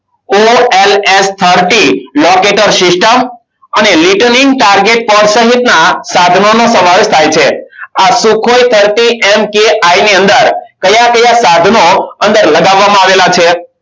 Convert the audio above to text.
Olf thirty logeter system અને litenik target polsanhit ના સાધનોનો સમાવેશ થાય છે. આ sukhoi thirty mki ની અંદર કયા કયા સાધનો અંદર લગાવવામાં આવેલા છે.